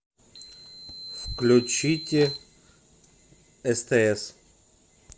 включите стс